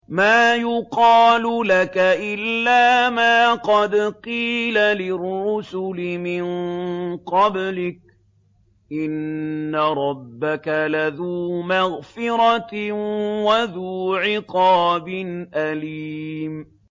مَّا يُقَالُ لَكَ إِلَّا مَا قَدْ قِيلَ لِلرُّسُلِ مِن قَبْلِكَ ۚ إِنَّ رَبَّكَ لَذُو مَغْفِرَةٍ وَذُو عِقَابٍ أَلِيمٍ